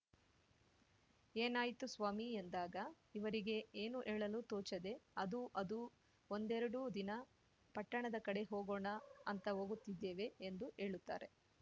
ಏನಾಯಿತು ಸ್ವಾಮಿ ಎಂದಾಗ ಇವರಿಗೆ ಏನು ಹೇಳಲು ತೋಚದೆ ಅದೂ ಅದೂ ಒಂದೆರಡು ದಿನ ಪಟ್ಟಣದ ಕಡೆ ಹೋಗೋಣ ಅಂತ ಹೋಗುತ್ತಿದ್ದೇವೆ ಎಂದು ಹೇಳುತ್ತಾರೆ